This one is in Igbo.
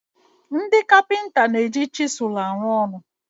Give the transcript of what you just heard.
Ndị kapịnta na-eji chizụl arụ ọrụ.